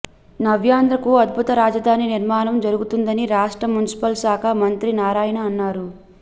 నవ్యాంధ్రకు అద్భుత రాజధాని నిర్మాణం జరుగుతుందని రాష్ట్ర మున్సిపల్ శాఖ మంత్రి నారాయణ అన్నారు